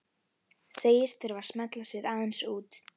Segist þurfa að smella sér aðeins út.